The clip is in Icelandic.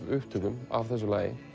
upptökum af þessu lagi